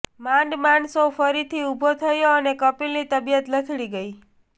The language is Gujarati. માંડ માંડ શો ફરીથી ઉભો થયો અને કપિલની તબિયત લથડી ગઈ